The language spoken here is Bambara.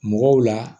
Mɔgɔw la